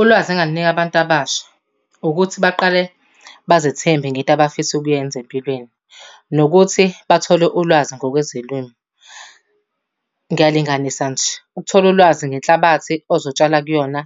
Ulwazi engingalunika abantu abasha ukuthi baqale bazethembe ngento abafisa ukuyenza empilweni nokuthi bathole ulwazi ngokwezolimo. Ngiyalinganisa nje, ukuthola ulwazi ngenhlabathi ozotshala kuyona